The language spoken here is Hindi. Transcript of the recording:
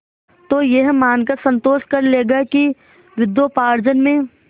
तो यह मानकर संतोष कर लेगा कि विद्योपार्जन में